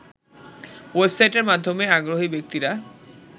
ওয়েবসাইটের মাধ্যমে আগ্রহী ব্যক্তিরা